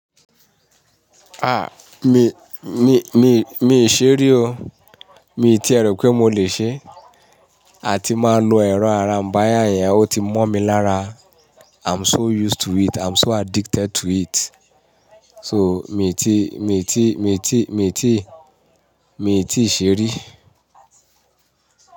Ah, mi, mi, mi, mi ṣe rí o. Mi ti ẹ rò pé mo lè ṣe. A ti máa lo ẹ̀rọ ara ń bá yàn yẹn, ó ti mọ mi lára. I'm so used to it, I'm so addicted to it. So mi ti, mi ti, mi ti, mi ti, mi ti ìṣe rí.